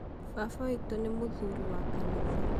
baba witũ nĩ mũthuriwa kanitha